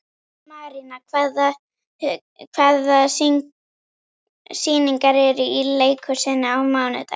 Marían, hvaða sýningar eru í leikhúsinu á mánudaginn?